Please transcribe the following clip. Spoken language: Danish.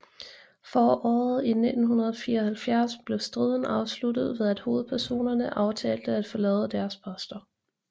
Foråret i 1974 blev striden afsluttet ved at hovedpersonerne aftalte at forlade deres poster